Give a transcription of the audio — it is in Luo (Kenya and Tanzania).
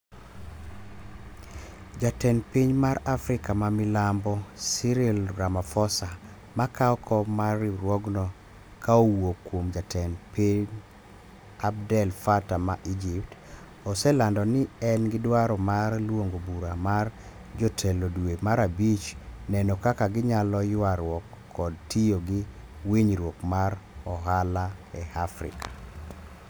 Jatend piny mar Afrika ma Milambo Cyril Ramaphosa makao kom mar riwruogno ka owuok kuom jatend pind Abdel Fatta ma Egypt, oselando ni en gi dwaro mar luongo bura mar jotelo dwe mar abich neno kaka ginyalo ywaruok kod tiyo gi winjruok mar ohala e Afrika